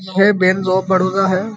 ये bank of Baroda है।